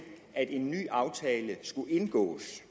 at en ny aftale skulle indgås